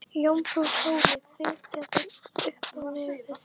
Jómfrú Sóley fitjaði upp á nefið.